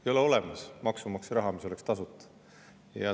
Ei ole olemas maksumaksja raha, mis oleks tasuta.